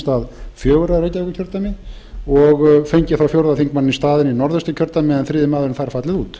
stað fjögurra í reykjavíkurkjördæmi og fengið fjórða þingmanninn í staðinn í norðausturkjördæmi en þriðji maður framsóknar þar fallið út